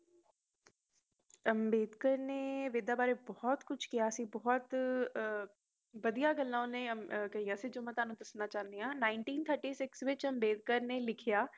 ਅੰਬੇਡਕਰ ਨੇ ਵੇਦਾ ਵਾਰੇ ਭਤ ਕੁਝ ਕਿਹਾ ਸੀ ਬਹੁਤ ਵਧੀਆ ਗੱਲ ਓਹਨੇ ਕਹਿਆ ਸੀ ਜੌ ਮੈ ਥੋਨੂੰ ਦੇਣਾ ਚਾਹੁਣੀ ਆ ਉੱਨੀ ਸੌ ਛੱਤੀ ਵਿੱਚ ਅੰਬੇਡਕਰ ਨੇ ਲਿਖਿਆ